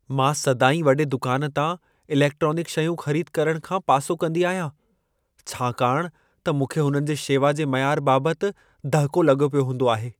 मां सदाईं वॾे दुकान तां इलेक्ट्रॉनिक शयूं ख़रीद करण खां पासो कंदी आहियां, छाकाणि त मूंखे हुननि जे शेवा जे मयार बाबतु दहिको लॻो पियो हूंदो आहे।